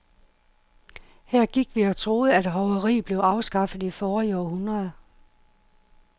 Her gik vi og troede, at hoveriet blev afskaffet i forrige århundrede.